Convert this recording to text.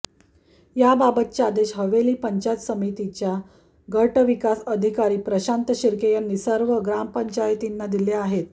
याबाबतचे आदेश हवेली पंचायत समितीच्या गट विकास अधिकारी प्रशांत शिर्के यांनी सर्व ग्रामपंचायतींना दिले आहेत